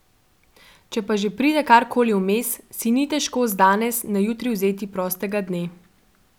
Če pa že pride karkoli vmes, si ni težko z danes na jutri vzeti prostega dne.